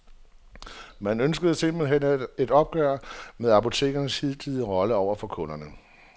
Man ønskede simpelt hen et opgør med apotekernes hidtidige rolle over for kunderne.